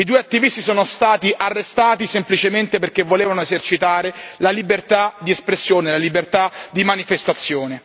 I due attivisti sono stati arrestati semplicemente perché volevano esercitare la libertà di espressione, la libertà di manifestazione.